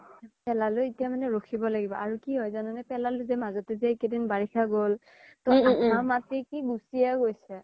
পেলালো এতিয়া মানে ৰাখিব লাগিব আৰু কি হয় জানা নে পেলালো জে মাজতে জে এই কেইদিন যে বৰিখা গ্'ল ত আধা মাতি কি গুচিয়ে গৈছে